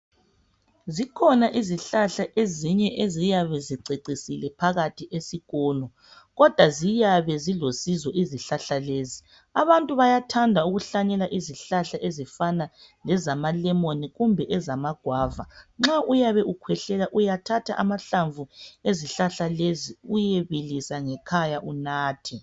Zikhona izihlahla ezinye eziyabe zicecisile phakathi esikolo kodwa ziyabe zilosizo izihlahla lezi .Abantu bayathanda ukuhlanyela izihlahla ezifana lezama lemon kumbe ezama guava. Nxa uyabe ukhwehlela uyathatha amahlamvu ezihlahla lezi uyebilisa ngekhaya unathe